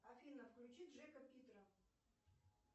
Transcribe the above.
афина включи джека питера